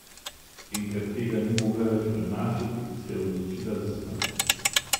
In ker tega ni mogla več prenašati, se je odločila za smrt.